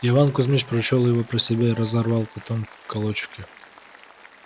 иван кузмич прочёл его про себя и разорвал потом в клочки